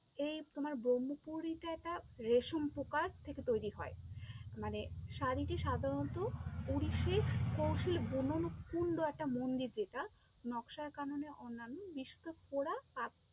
এই তোমার ব্রহ্মপুরেতে এটা রেশম পোকার থেকে তৈরী হয়, মানে শাড়িতে সাধরণত কৌশীল বুনন কুন্ড একটা মন্দির যেটা, নকশার কাননে অন্যান্য